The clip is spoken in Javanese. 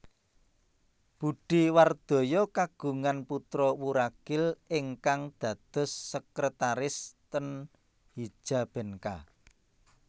Budhe Wardoyo kagungan putro wuragil ingkang dados sekretaris ten Hijabenka